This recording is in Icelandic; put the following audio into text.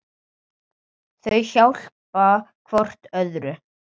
Þau hjálpa hvort öðru.